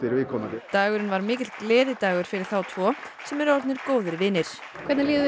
viðkomandi dagurinn var mikill gleðidagur fyrir þá tvo sem eru orðnir góðir vinir hvernig líður